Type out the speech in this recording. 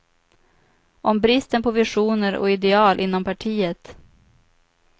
Om bristen på visioner och ideal inom partiet.